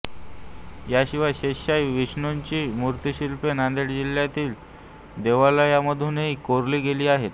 याशिवाय शेषशायी विष्णुची मुर्तिशिल्पे नांदेड जिल्ह्यातील देवालयामधूनही कोरली गेली आहेत